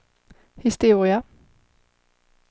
historia